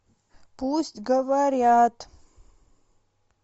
пусть говорят